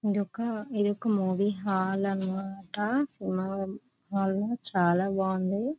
ఇదొక ఇదొక movie hall అన్నమాట సినిమా బావుంది చాలా బాగుంది.